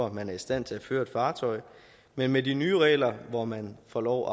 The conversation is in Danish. at man er i stand til at føre et fartøj men med de nye regler hvor man får lov